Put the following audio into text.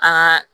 A ka